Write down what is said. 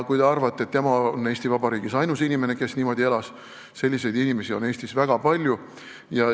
Kui te arvate, et tema on Eesti Vabariigis ainus inimene, kes niimoodi elas, siis ei, selliseid inimesi on Eestis väga palju.